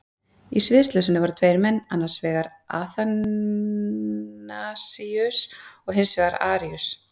Í sviðsljósinu voru tveir menn, annars vegar Aþanasíus og hins vegar Aríus.